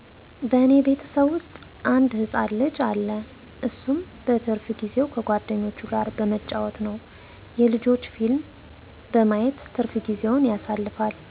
በእኔ ቤተሰብ ዉስጥ አንድ ህፃን ልጅ አለ እሱም በትርፍ ጊዜዉ ከጓደኞቹ ጋር በመጫወት እና የልጆች ፊልም በማየት ትርፋ ጊዜዉን ያሳልፋል